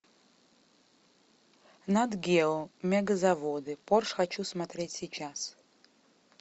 нат гео мегазаводы порш хочу смотреть сейчас